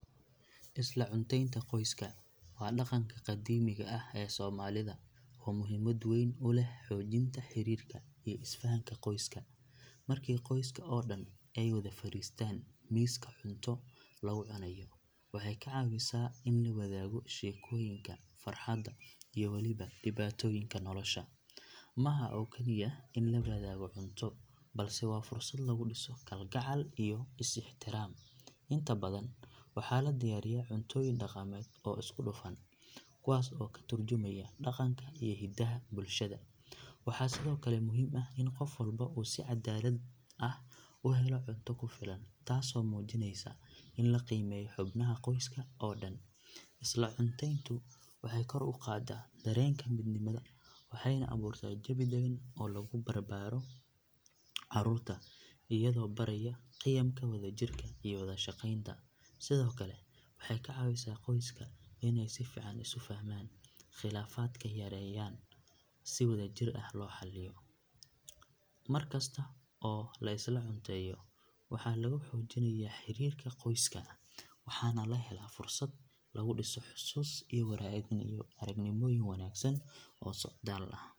Isla cunteynta qoyska waa dhaqanka qadiimiga ah ee soomaalida oo muhiimad weyn u leh xoojinta xiriirka iyo isfahanka qoyska. Markii qoyska oo dhan ay wada fadhiistaan miiska cunto lagu cunayo waxay ka caawisaa in la wadaago sheekooyinka, farxadda iyo waliba dhibaatooyinka nolosha. Ma aha oo kaliya in la wadaago cunto balse waa fursad lagu dhiso kalgacal iyo is ixtiraam. Inta badan waxaa la diyaariyaa cuntooyin dhaqameed oo isku dhafan kuwaasoo ka tarjumaya dhaqanka iyo hidaha bulshada. Waxaa sidoo kale muhiim ah in qof walba uu si cadaalad ah u helo cunto ku filan taasoo muujinaysa in la qiimeeyo xubnaha qoyska oo dhan. Isla cunteyntu waxay kor u qaadaa dareenka midnimada waxayna abuurtaa jawi dagan oo lagu barbaaro carruurta iyadoo baraya qiyamka wadajirka iyo wada shaqaynta. Sidoo kale waxay ka caawisaa qoyska in ay si fiican isu fahmaan, khilaafaadka yaryarna si wadajir ah loo xaliyo. Markasta oo la isla cunteeyo, waxaa lagu xoojinayaa xidhiidhka qoyska waxaana la helaa fursad lagu dhiso xusuus iyo waayo aragnimooyin wanaagsan oo soo socdaal ah.